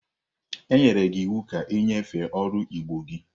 Enyere gi iwu ka inyefe oru igbo gi!